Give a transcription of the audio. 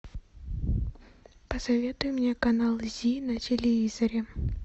посоветуй мне канал зи на телевизоре